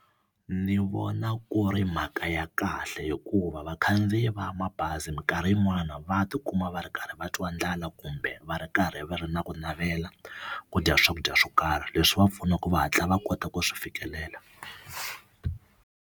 Ni vona ku ri mhaka ya kahle hikuva vakhandziyi va mabazi minkarhi yin'wani va tikuma va ri karhi va twa ndlala kumbe va ri karhi va ri na ku navela ku dya swakudya swo karhi leswi va pfunaka va hatla va kota ku swi fikelela.